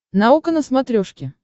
наука на смотрешке